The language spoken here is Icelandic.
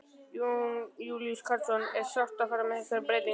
Jón Júlíus Karlsson: Er sárt að fara í þessar breytingar?